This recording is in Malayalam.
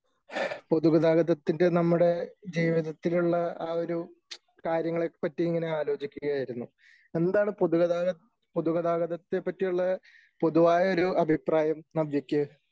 പൊതുഗതാഗതത്തിന്റെ ജീവിതത്തിലുള്ള എഅ ഒരു കാര്യങ്ങളെ പറ്റി ഇങ്ങനെ ആലോചിക്കുകയായിരുന്നു.എന്താണ് പൊതു ഗതാഗത പൊതുഗതാഗതത്തെ പറ്റിയുള്ള പൊതുവായ ഒരു അഭിപ്രായം നവ്യയ്ക്ക് ?